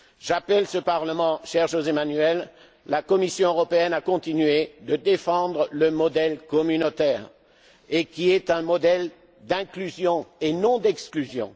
politique. J'appelle ce Parlement et, cher José Manuel, la Commission européenne à continuer de défendre le modèle communautaire, qui est un modèle d'inclusion et non